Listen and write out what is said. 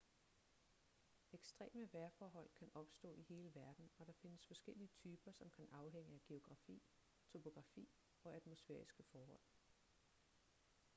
ekstreme vejrforhold kan opstå i hele verden og der findes forskellige typer som kan afhænge af geografi topografi og atmosfæriske forhold